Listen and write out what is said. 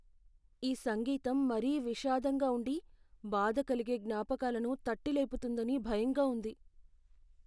ఈ సంగీతం మరీ విషాదంగా ఉండి, బాధాకలిగే జ్ఞాపకాలను తట్టి లేపుతుందని భయంగా ఉంది.